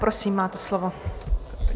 Prosím, máte slovo.